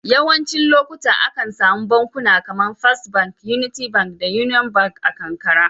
Yawancin lokuta, akan samu bankuna kamar first Bank, Unity Bank da Union Bank a karkara.